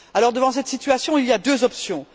Devant cette situation, il y a deux options.